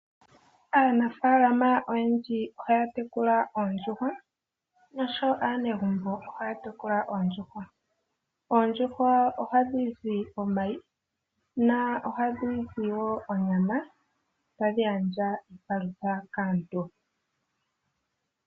Aanafaalama oyendji ohaya tekula oondjuhwa nosho woo aanegubo ohaya tekula oondjuhwa. Oondjuhwa Ohatu monoko omayi noha ku zi woo onyama tayi gandja iipalutha kaantu.